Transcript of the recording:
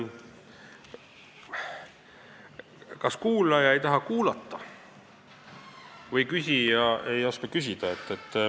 Kas kuulaja ei taha kuulata või küsija ei oska küsida?